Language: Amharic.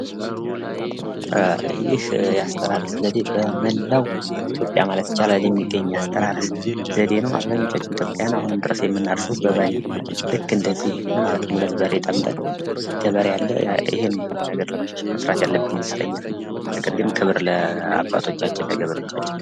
ይህ የአስተራረስ ዘዴ በመላው ኢትዮጵያ ማለት ይቻላል። የሚገኝ የአስተራረስ ዘዴ ነው አብዛኞቻችን ኢትዮጵያውያን አሁንም ድረስ የምናርሰው በበሬ ልክ እንደዚህ ማለት ነው። ሁለት በሬ ጠምደን ገበሬ አለ። ይህን ለመቀየር መስራት ያለብን ይመስለኛል። ነገር ግን ክብር ለአባቶቻችን ለገበሬዎቻችን።